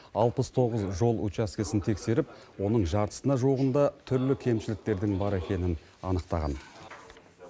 алпыс тоғыз жол учаскесін тексеріп оның жартысына жуығында түрлі кемшіліктердің бар екенін анықтаған